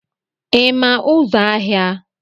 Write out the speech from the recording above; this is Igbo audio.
ị ma ụzọ ahịa